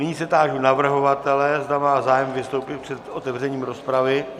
Nyní se táži navrhovatele, zda má zájem vystoupit před otevřením rozpravy.